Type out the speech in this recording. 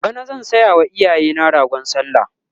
bana zan sayawa iyayena ragon sallah